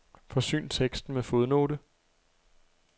Forsyn teksten med fodnote.